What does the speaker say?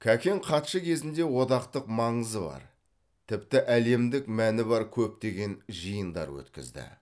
кәкең хатшы кезінде одақтық маңызы бар тіпті әлемдік мәні бар көптеген жиындар өткізді